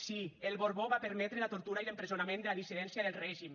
sí el borbó va permetre la tortura i l’empresonament de la dissidència del règim